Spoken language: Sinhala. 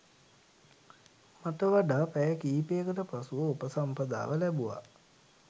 මට වඩා පැය කීපයකට පසුව උපසම්පදාව ලැබුවා.